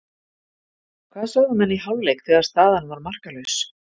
Hvað sögðu menn í hálfleik þegar staðan var markalaus?